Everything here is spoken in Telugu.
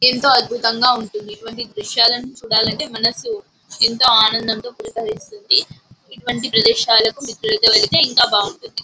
ఏంటో అద్భుతంగా ఉంటుంది. ఇటువంటి దృశ్యాలను చూడాలంటే మనసు ఎంతో అనడంతో పులకరిస్తుంది. ఇటువంటి ప్రదేశాలు కు మిత్రులతో వెళ్తే ఎంతో బాగుంటుంది.